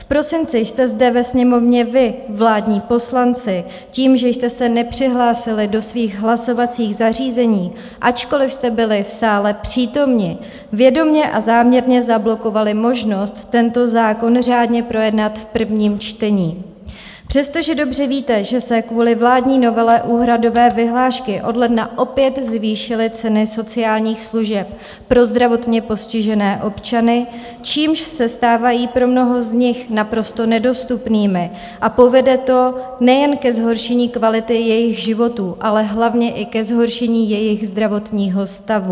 V prosinci jste zde ve Sněmovně vy, vládní poslanci, tím, že jste se nepřihlásili do svých hlasovacích zařízení, ačkoliv jste byli v sále přítomni, vědomě a záměrně zablokovali možnost tento zákon řádně projednat v prvním čtení, přestože dobře víte, že se kvůli vládní novele úhradové vyhlášky od ledna opět zvýšily ceny sociálních služeb pro zdravotně postižené občany, čímž se stávají pro mnoho z nich naprosto nedostupnými a povede to nejen ke zhoršení kvality jejich životů, ale hlavně i ke zhoršení jejich zdravotního stavu.